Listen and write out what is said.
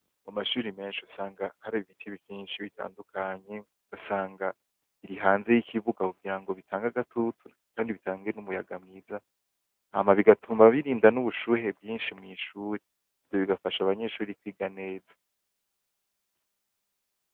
Mu mashuri menshi usanga hari ibiti vyinshi bitandukanye ugasanga biri hanze y'ikibuga kugira ngo bitange agatutu kandi bitange n'umuyaga mwiza hama bigatuma birinda n'ubushuhe bwinshi mw'ishuri. Ivyo bigafasha abanyeshuri kwiga neza.